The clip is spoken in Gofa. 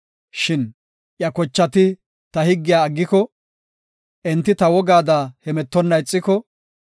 “Shin iya kochati ta higgiya aggiko, enti ta wogaada hemetonna ixiko,